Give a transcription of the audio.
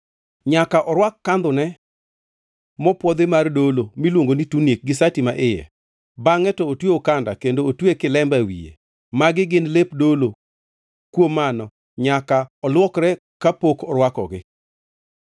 Nyaka orwak kandhone mopwodhi mar dolo miluongo ni tunik gi sati maiye, bangʼe to otwe okanda kendo otwe kilemba e wiye. Magi gin lep dolo; kuom mano nyaka olwokre kapod orwakogi.